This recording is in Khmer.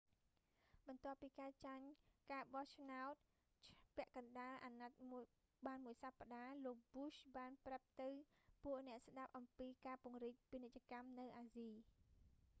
បន្ទាប់ពី​ចាញ់​ការបោះឆ្នោតពាក់កណ្តាល​អាណត្តិ​បាន​មួយ​សប្តាហ៍ លោកbushបានប្រាប់ទៅពួកអ្នកស្តាប់​អំពីការពង្រីក​ពាណិជ្ជកម្ម​នៅ​អាស៊ី។